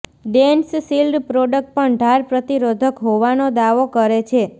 DensShield product પણ ઢાળ પ્રતિરોધક હોવાનો દાવો કરે છે